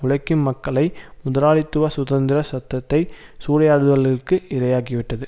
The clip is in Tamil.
உழைக்கும் மக்களை முதலாளித்துவ சுதந்திர சத்தத்தை சூறையாடல்களுக்கு இரையாகிவிட்டது